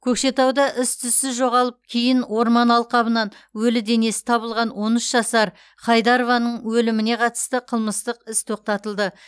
көкшетауда із түзсіз жоғалып кейін орман алқабынан өлі денесі табылған он үш жасар хайдарованың өліміне қатысты қылмыстық іс тоқтатылды